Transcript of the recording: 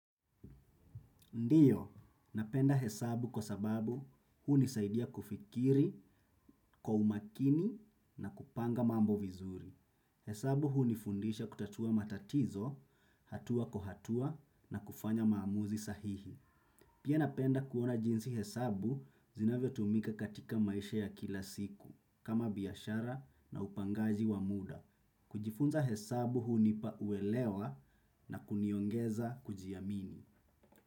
Ndiyo, napenda hesabu kwa sababu hunisaidia kufikiri kwa umakini na kupanga mambo vizuri. Hesabu hunifundisha kutatua matatizo hatua kwa hatua na kufanya maamuzi sahihi. Pia napenda kuona jinsi hesabu zinavyo tumika katika maisha ya kila siku, kama biashara na upangaji wa muda. Kujifunza hesabu hunipa uelewa na kuniongeza kujiamini.